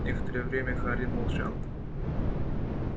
некоторое время хардин молчал